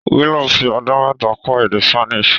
Willow fi ọdún mẹ́ta kọ́ èdè Spanish.